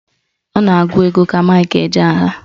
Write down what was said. Ọ na-agụ egwu ka Mike Ejeagha